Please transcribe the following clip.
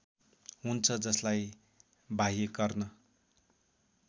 हुन्छ जसलाई बाह्यकर्ण